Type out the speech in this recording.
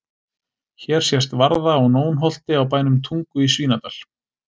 Hér sést varða á Nónholti á bænum Tungu í Svínadal.